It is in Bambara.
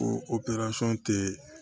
Ko tɛ